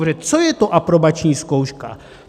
Protože co je to aprobační zkouška?